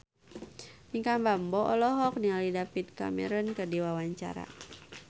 Pinkan Mambo olohok ningali David Cameron keur diwawancara